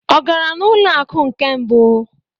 Ọ gara n'ụlọ akụ nke mbụ?